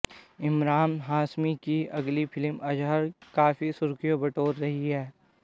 इमरान हाशमी की अगली फिल्म अजहर काफी सुर्खियां बटोर रही है